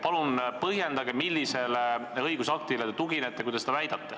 Palun põhjendage, millisele õigusaktile te tuginete, kui te seda väidate.